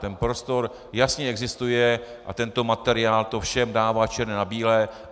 Ten prostor jasně existuje a tento materiál to všem dává černé na bílé.